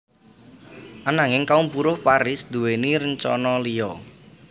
Ananging kaum buruh Paris nduwèni rencana liya